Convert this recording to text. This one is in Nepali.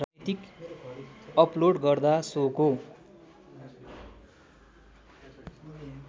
अपलोड गर्दा सोको